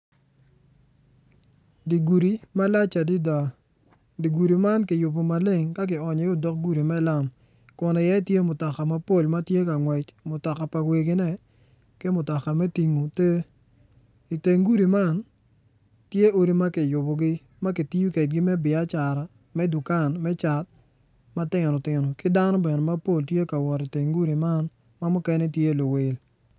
Dye gudi malac adada dye gudi man ki yubo makeng adada ka onyo i iye odok gudi me lam kun i iye tye mutoka mapol matye ka ngwec mutoka pa wegine ki mutoka me tingo tee iteng gudi man tye odi ma kiyubogi ma gitiyo kwedegi me biacara me dukan me cat matin tino ki dano bene mapol tye ka wot iteng gudi man ma mukene gitye luwil